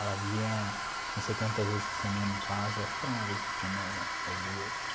Ela vinha não sei quantas vezes por semana em casa, acho que era uma vez por semana ou duas.